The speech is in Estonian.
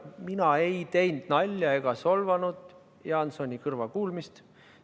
Mina ei teinud nalja ega solvanud Jaansoni kõrvakuulmist.